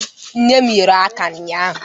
Nne m ghere aka ụnyaahụ.